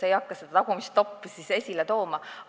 Ma ei hakka seda tagumist top'i esile tooma.